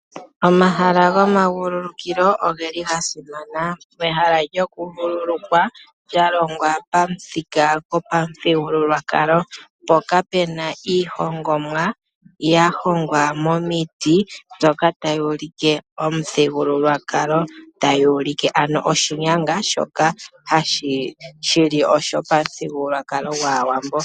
Omahala gomavululukilo oge li ga simana, pehala lyoku vululukwa lya longwa pamuthika gapamuthigululwakalo mpoka pena iihongomwa ya hongwa momiti dhoka ta yi ulike momuthigululwakalo, tayi ulike ano oshinyanga shoka shili pamuthigululwakwalo gwAawambo.